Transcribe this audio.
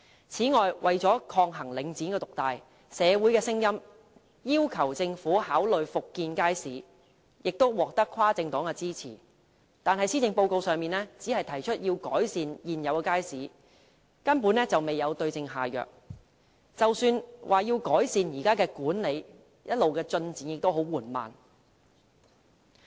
此外，為了抗衡領展獨大，社會有聲音要求政府考慮復建街市，建議獲跨政黨支持，但施政報告只是提出改善現有街市，根本未有對症下藥，即使在改善現有街市的管理上，進展一直十分緩慢。